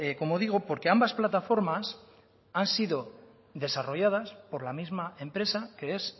como digo porque ambas plataformas han sido desarrolladas por la misma empresa que es